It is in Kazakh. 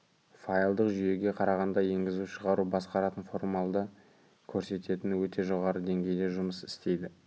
файлдық жүйеге қарағанда енгізу-шығару басқаратын формалды көрсететін өте жоғары деңгейде жұмыс істейді